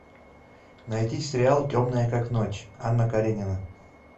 найти сериал темная как ночь анна каренина